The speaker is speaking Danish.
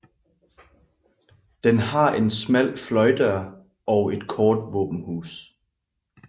Den har en smal fløjdør og et kort våbenhus